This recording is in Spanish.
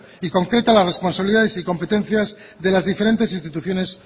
y concreta las responsabilidades y competencias de las diferentes instituciones